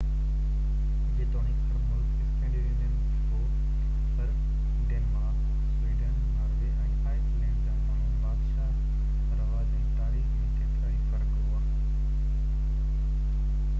جيتوڻڪ هر ملڪ اسڪينڊينيوين هو پر Denmark Sweden Norway ۽ Iceland جا ماڻهو بادشاه رواج ۽ تاريخ ۾ ڪيترائي فرق ھئا